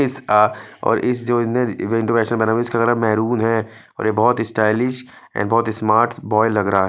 इसका और इस इनर जो इवेंट मेरून है और यह बहोत इस्टाइलिश और बहोत स्मार्ट बोय लग रहा है।